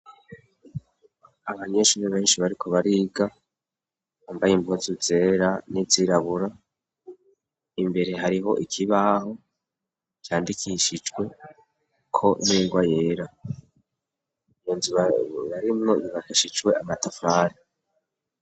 Abanyeshuri benshi bariko bariga, bambaye impuzu zera n'izirabura, imbere hariho ikibaho candikishijweko n'ingwa yera, iyo nzu barimwo yubakishijwe amatafari.